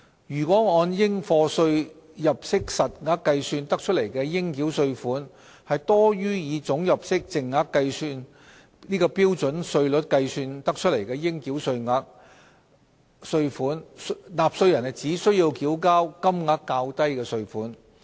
如按應課稅入息實額計算得出的應繳稅款，多於以總入息淨額按標準稅率計算得出的應繳稅款，納稅人只須繳交金額較低的稅款。